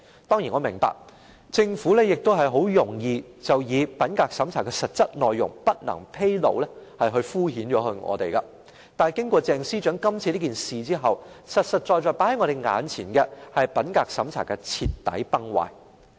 當然我明白，政府很容易以品格審查的實質內容不能披露來敷衍我們，但經過鄭司長今次的事件後，實實在在放在我們眼前的，是品格審查制度的徹底崩壞。